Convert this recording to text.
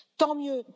Tant mieux!